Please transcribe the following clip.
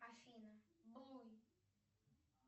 афина блуй